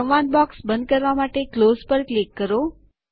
સંવાદ બોક્સ બંધ કરવા માટે ક્લોઝ પર ક્લિક કરો